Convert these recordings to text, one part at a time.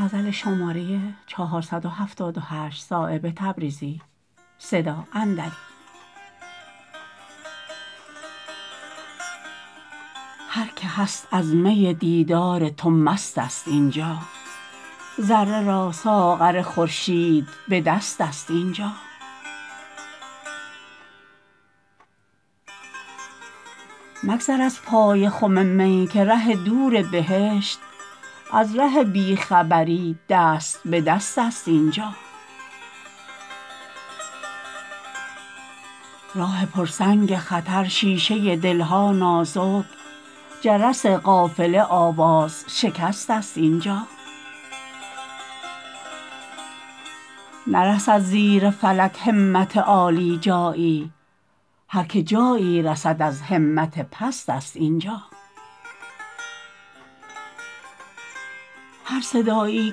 هر که هست از می دیدار تو مست است اینجا ذره را ساغر خورشید به دست است اینجا مگذر از پای خم می که ره دور بهشت از ره بی خبری دست به دست است اینجا راه پر سنگ خطر شیشه دل ها نازک جرس قافله آواز شکست است اینجا نرسد زیر فلک همت عالی جایی هر که جایی رسد از همت پست است اینجا هر صدایی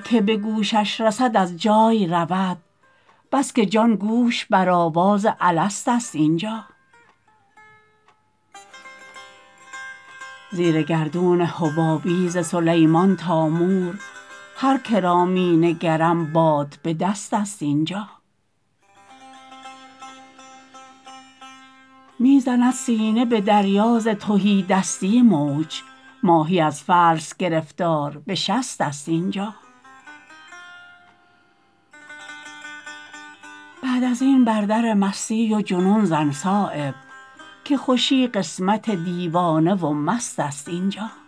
که به گوشش رسد از جای رود بس که جان گوش بر آواز الست است اینجا زیر گردون حبابی ز سلیمان تا مور هر که را می نگرم باد به دست است اینجا می زند سینه به دریا ز تهیدستی موج ماهی از فلس گرفتار به شست است اینجا بعد ازین بر در مستی و جنون زن صایب که خوشی قسمت دیوانه و مست است اینجا